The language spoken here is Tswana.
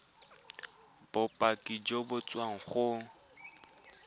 bopaki jo bo tswang go